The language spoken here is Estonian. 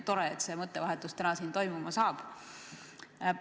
Tore, et see mõttevahetus täna siin toimub.